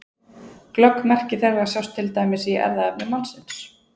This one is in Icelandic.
Glögg merki þeirra sjást til dæmis í erfðaefni mannsins.